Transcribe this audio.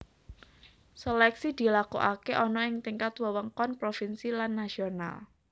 Seleksi dilakokake ana ing tingkat wewengkon provinsi lan nasional